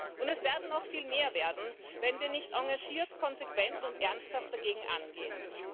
Und es werden noch viel mehr werden, wenn wir nicht engagiert, konsequent und ernsthaft dagegen angehen.